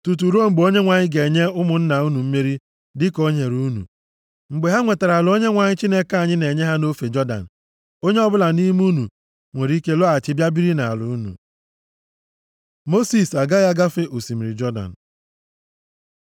tutu ruo mgbe Onyenwe anyị ga-enye ụmụnna unu mmeri dịka o nyere unu. Mgbe ha nwetara ala Onyenwe anyị Chineke anyị na-enye ha nʼofe Jọdan, onye ọbụla nʼime unu nwere ike lọghachi bịa biri nʼala unu.” Mosis agaghị agafe osimiri Jọdan